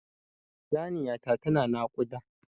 Saniya ta ta na naƙuda